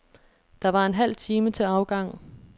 Der var en halv time til afgang.